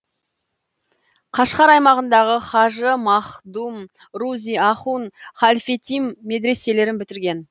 қашғар аймағындағы хажы маһдум рузи ахун халфетим медіреселерін бітірген